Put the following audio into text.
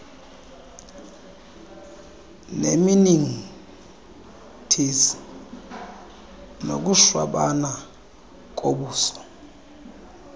nemeningitis nokushwabana kobuso